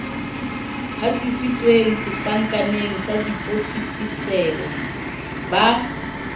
hatisitsweng setlankaneng sa depositiseo ba